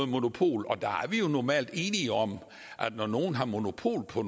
monopol og der er vi normalt enige om at når nogen har monopol på